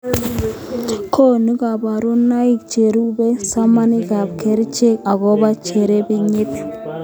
Konu koborunoik cherube somanikab kerechek akobo cherebenyit